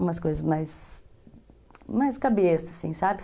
Umas coisas mais... Mais cabeça, assim, sabe?